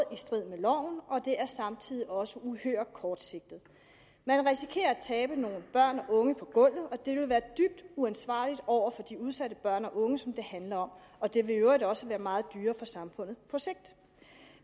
strid med loven og det er samtidig også uhyre kortsigtet man risikerer at tabe nogle børn og unge på gulvet og det vil være dybt uansvarligt over for de udsatte børn og unge som det handler om og det vil i øvrigt også være meget dyrere for samfundet på sigt